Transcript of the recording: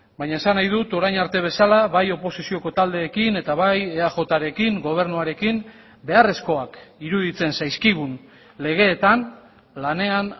baina esan nahi dut orain arte bezala bai oposizioko taldeekin eta bai eajrekin gobernuarekin beharrezkoak iruditzen zaizkigun legeetan lanean